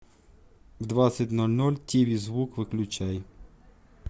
в двадцать ноль ноль тиви звук выключай